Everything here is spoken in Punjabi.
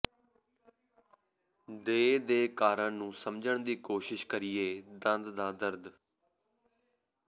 ਦੇ ਦੇ ਕਾਰਨ ਨੂੰ ਸਮਝਣ ਦੀ ਕੋਸ਼ਿਸ਼ ਕਰੀਏ ਦੰਦ ਦਾ ਦਰਦ